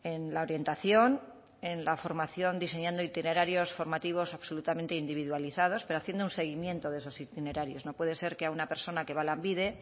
en la orientación en la formación diseñando itinerarios formativos absolutamente individualizados pero haciendo un seguimiento de esos itinerarios no puede ser que a una persona que va a lanbide